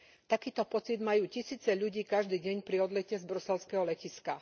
Takýto pocit majú tisíce ľudí každý deň pri odlete z bruselského letiska.